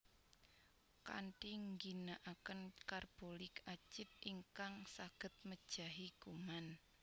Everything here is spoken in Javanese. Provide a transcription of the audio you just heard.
Kanthi ngginakaken Carbolik Acid ingkang saged mejahi kuman